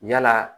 Yala